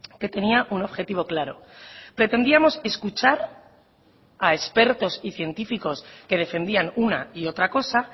que tenía un objetivo claro pretendíamos escuchar a expertos y científicos que defendían una y otra cosa